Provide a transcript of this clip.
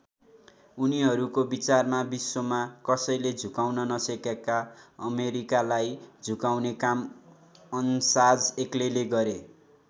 उनीहरूको विचारमा विश्वमा कसैले झुकाउन नसकेको अमेरिकालाई झुकाउने काम अन्साज एक्लैले गरे।